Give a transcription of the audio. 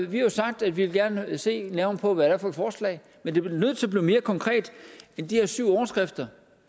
vi har jo sagt at vi gerne vil se nærmere på hvad det er for et forslag men det bliver nødt til at blive mere konkret end de her syv overskrifter